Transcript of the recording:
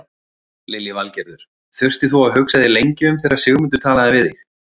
Lillý Valgerður: Þurftir þú að hugsa þig lengi um þegar Sigmundur talaði við þig?